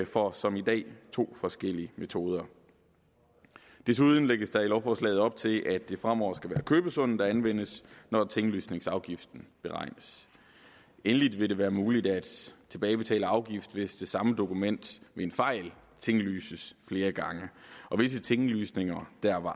for som i dag to forskellige metoder desuden lægges der i lovforslaget op til at det fremover skal være købesummen der anvendes når tinglysningsafgiften beregnes endelig vil det være muligt at tilbagebetale afgift hvis det samme dokument ved en fejl tinglyses flere gange og visse tinglysninger der var